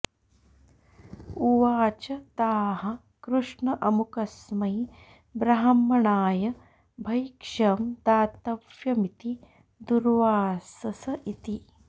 उवाच ताः कृष्ण अमुकस्मै ब्राह्मणाय भैक्ष्यं दातव्यमिति दुर्वासस इति